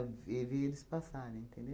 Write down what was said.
e via eles passarem, entendeu?